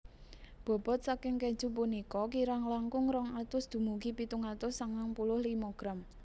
Bobot saking keju punika kirang langkung rong atus dumugi pitung atus sangang puluh limo gram